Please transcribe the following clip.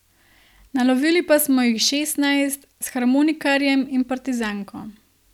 Nalovili pa smo jih šestnajst, s harmonikarjem in partizanko.